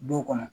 Duw kɔnɔ